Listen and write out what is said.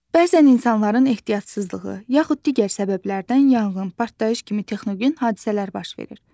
Bəzən insanların ehtiyatsızlığı, yaxud digər səbəblərdən yanğın, partlayış kimi texnogen hadisələr baş verir.